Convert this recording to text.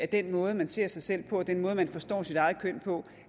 den måde man ser sig selv på og den måde man forstår sit eget køn på